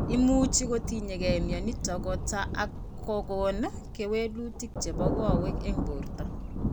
Imuchi kotinyge mionitok kota ak kokon kewelutik chebo kowek eng' borto